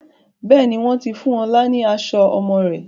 Bẹ́ẹ̀ni, wọn ti fún ọ̀la ni aṣọ ọmọ rẹ̀